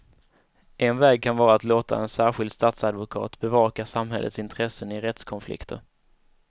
En väg kan vara att låta en särskild statsadvokat bevaka samhällets intressen i rättskonflikter.